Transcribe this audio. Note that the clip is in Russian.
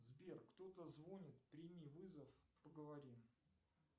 сбер кто то звонит прими вызов поговорим